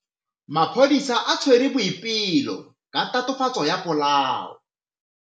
Maphodisa a tshwere Boipelo ka tatofatsô ya polaô.